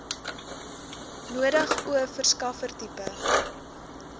nodig o verskaffertipe